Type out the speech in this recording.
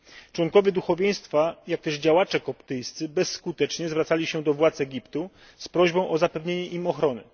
Członkowie duchowieństwa, jak też działacze koptyjscy bezskutecznie zwracali się do władz Egiptu z prośbą o zapewnienie im ochrony.